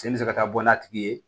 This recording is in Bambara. Sen bɛ se ka taa bɔ n'a tigi ye